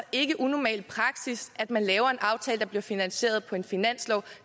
ikke unormal praksis at man laver en aftale der bliver finansieret på en finanslov